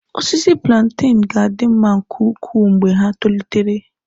Osisi plantain ga-adị mma nke ukwuu mgbe ha tolitere.